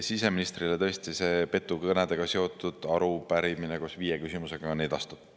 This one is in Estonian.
Siseministrile tõesti petukõnedega seotud arupärimine koos viie küsimusega on edastatud.